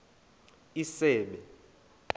isebe